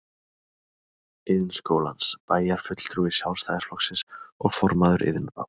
Iðnskólans, bæjarfulltrúi Sjálfstæðisflokksins og formaður Iðnráðs